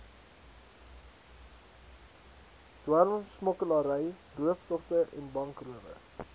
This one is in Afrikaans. dwelmsmokkelary rooftogte bankrowe